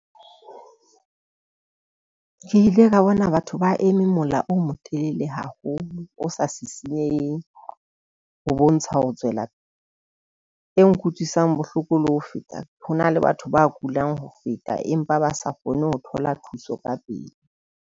Ke ile ka bona batho ba eme mola o motelele haholo. O sa sisinyeheng ho bontsha ho tswela e nkutlwisang bohloko le ho feta. Ho na le batho ba kulang ho feta empa ba sa kgone ho thola thuso ka pele.